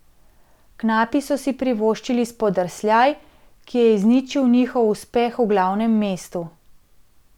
Knapi so si privoščili spodrsljaj, ki je izničil njihov uspeh v glavnem mestu.